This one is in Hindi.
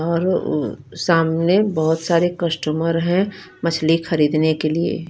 और अ सामने बोहोत सारे कस्टमर है मछली खरीदने के लिए--